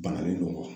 Bana de don wa